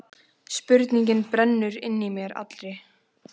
Spurning brennur inn í mér allri.